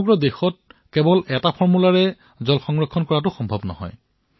সমগ্ৰ দেশত জল সংকটৰ পৰা ৰক্ষা পোৱাৰ এটাই ফৰ্মূলা হব নোৱাৰে